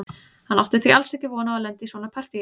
Hann átti því alls ekki von á að lenda í svona partíi.